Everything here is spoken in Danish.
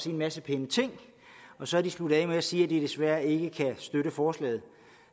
en masse pæne ting og så er de sluttet af med at sige at de desværre ikke kan støtte forslaget